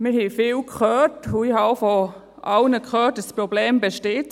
Wir haben viel gehört und ich habe auch von allen gehört, dass das Problem besteht.